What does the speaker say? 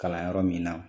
Kalan yɔrɔ min na